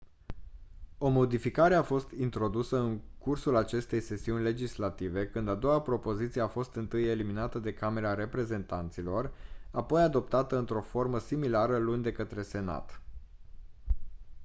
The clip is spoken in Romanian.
o modificare a fost introdusă în cursul acestei sesiuni legislative când a doua propoziție a fost întâi eliminată de camera reprezentanților apoi adoptată într-o formă similară luni de către senat